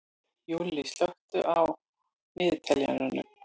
Júlli, slökktu á niðurteljaranum.